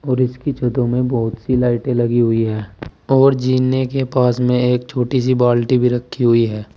और इसकी छतों में बहुत सी लाइटें लगी हुई है और जीने के पास में एक छोटी सी बाल्टी भी रखी हुई है।